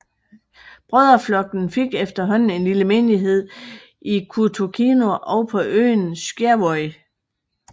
Brødreflokken fik efterhånden en lille menighed i Kautokeino og på øen Skjervøy